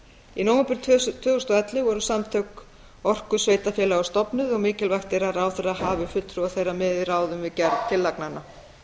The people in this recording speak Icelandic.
í nóvember tvö þúsund og ellefu voru samtök orkusveitarfélaga stofnuð og mikilvægt er að ráðherra hafi fulltrúa þeirra með í ráðum við gerð tillagnanna